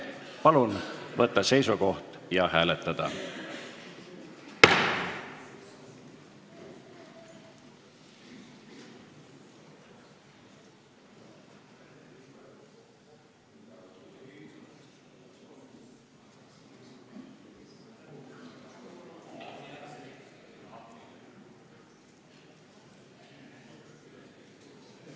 Palun võtta seisukoht ja hääletada!